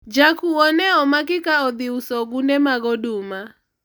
jakuwo ne omaki ka odhi uso ogunde mag oduma